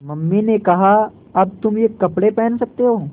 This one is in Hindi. मम्मी ने कहा अब तुम ये कपड़े पहन सकते हो